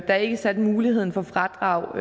der ikke satte muligheden for fradrag